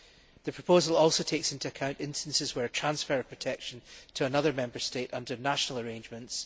The proposal also takes into account the transfer of protection to another Member State under national arrangements.